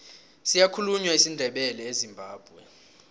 siyakhulunywa isindebele ezimbabwe